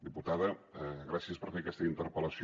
diputada gràcies per fer aquesta interpel·lació